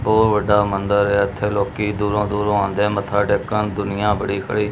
ਬਉਹ ਵੱਡਾ ਮੰਦਰ ਏ ਇੱਥੇ ਲੋਕੀ ਦੂਰੋਂ ਦੂਰੋਂ ਆਉਂਦੇ ਮੱਥਾ ਟੇਕਣ ਦੁਨੀਆਂ ਬੜੀ ਖੜੀ।